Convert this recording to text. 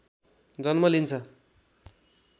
जन्म लिन्छ